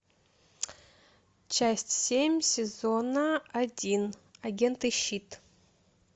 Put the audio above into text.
часть семь сезона один агенты щит